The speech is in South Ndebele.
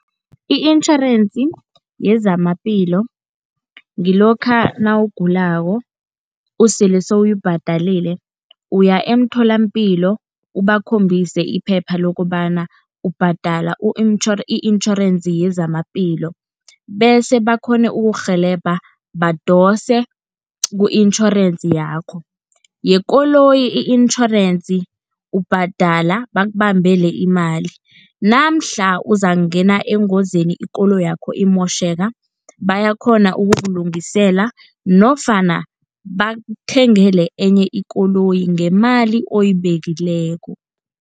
I-insurance yezamaphilo ngilokha nawugulako sele sewuyibhadelile uya emtholampilo bakhombise iphepha lokobana ubhadela i-insurance yezamaphilo, bese bakghone ukukurhelebha badose ku-insurance yakho. Yekoloyi i-insurance ubhadela bakubambele imali, namhla uzakungena engozini ikoloyi yakho imotjheka bayakghona ukukulungisela, nofana bakuthengele enye ikoloyi ngemali oyibekileko.